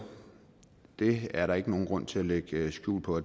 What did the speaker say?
det er der ikke nogen grund til at lægge skjul på